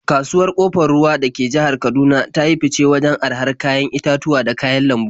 Kasuwar Ƙofar Ruwa da ke jihar Kaduna ta yi fice wajen arahar kayan itatuwa da kayan lambu.